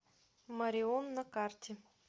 морион на карте